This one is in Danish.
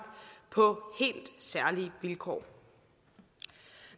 på helt særlige vilkår